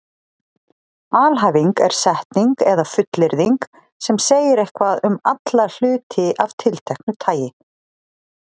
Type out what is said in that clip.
Alhæfing er setning eða fullyrðing sem segir eitthvað um alla hluti af tilteknu tagi.